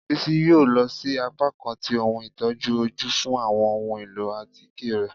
Bisi yóò lọ si apakan tí ohún itojú ojú fún awọn ohún elọ́ atike rẹ.